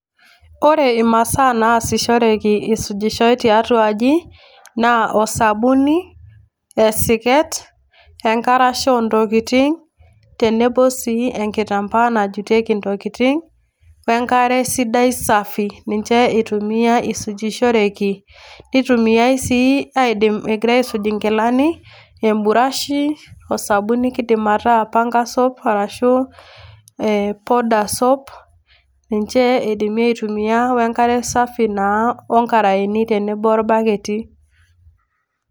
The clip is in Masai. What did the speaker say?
Ore imasaa naasishoreki eisujishoi tiatua aji naa osabuni, esiket onkarasha oontokitin tenebo sii enkitambaa najutieki ntokitin onkare sidai safi, ninche itumiai isujishoreki nitumiaai sii egirai aisuj nkilani emburashi osabuni kiidim ataa panga soap arashu ee powder soap ninche idimi aitumia o enkare safi naa onkaraeni tenebo orbaketi.